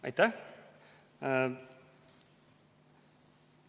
Aitäh!